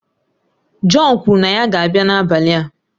John kwuru na ya ga-abịa n'abalị a